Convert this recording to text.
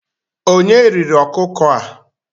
Onye riri ọkụkọ a?